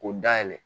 K'o dayɛlɛ